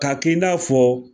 K'a k'i n'a fɔ